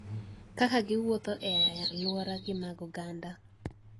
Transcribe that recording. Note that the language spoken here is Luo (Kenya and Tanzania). Kaka giwuotho ??e alwora gi mag oganda.